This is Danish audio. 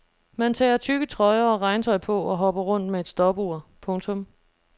Man tager tykke trøjer og regntøj på og hopper rundt med et stopur. punktum